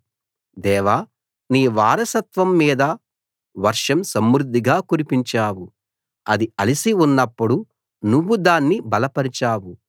దేవా నీ వారసత్వం మీద వర్షం సమృద్ధిగా కురిపించావు అది అలసి ఉన్నప్పుడు నువ్వు దాన్ని బలపరచావు